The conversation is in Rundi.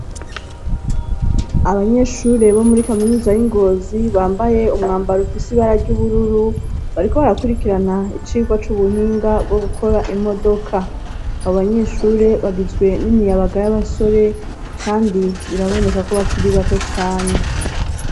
Abanyeshure bo muri kaminuza y'i Ngozi bambaye umwambaro ufise ibara ry'ubururu bariko barakurikirana icigwa c'ubuhinga bwo gukora imodoka abo banyeshure bagizwe n'imiyabaga y'abasore kandi biraboneka ko bakiri bato cane.